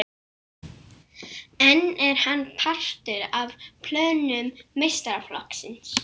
En er hann partur af plönum meistaraflokksins?